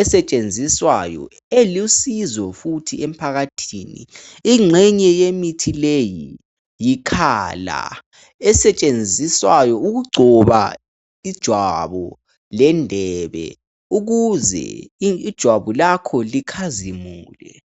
esetshenziswayo elusizo futhi emphakathini. Ingxenye yemithi leyi yikhala esetshenziswayo ukugcoba ijwabu lendebe ukuze ijwabu lakho likhazimule.